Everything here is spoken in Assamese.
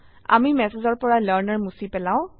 আমি ম্যাসেজৰপৰা লাৰ্ণাৰ মুছি পেলাও